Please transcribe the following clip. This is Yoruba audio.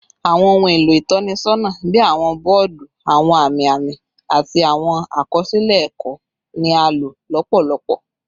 Awọn ohun elo itọnisọna bii awọn bọọdu, awọn ami ami, ati awọn akọsilẹ ẹkọ ni a lo lọpọlọpọ